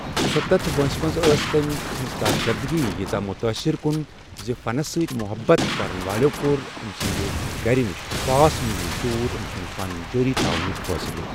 ژُستتھ وٲنسہ منٛز ٲس تٔمۍ سٕنٛزِ کارکردٕگی ییٖژاہ متاثر کُن زِ فنَس سۭتۍ محبَت کرَن والٮ۪و کوٚر أمۍ سٕنٛدِ گَرِ نش ساس میل دوٗر أمۍ سُنٛد فن جٲری تھاونُک فٲصلہٕ۔